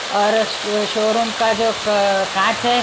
और श शोरूम का जो क कांच है।